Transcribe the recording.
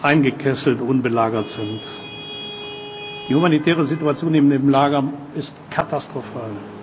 eingekesselt und belagert sind. Die humanitäre Situation in dem Lager ist katastrophal.